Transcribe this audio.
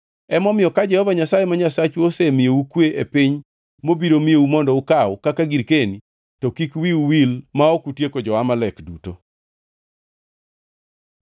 Emomiyo ka Jehova Nyasaye ma Nyasachu osemiyou kwe e piny mobiro miyou mondo ukaw kaka girkeni, to kik wiu wil ma ok utieko jo-Amalek duto.